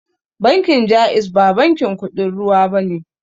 Bankin jaiz ba bankin kuɗin ruwa bane